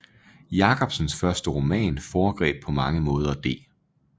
Jacobsens første roman foregreb på mange måder D